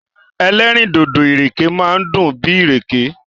Ẹlẹ́rìndòdò ìrèké máa dùn bíi ìrèké.